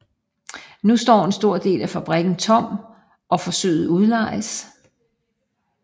Nu står en stor del af fabrikken tom og forsøges udlejet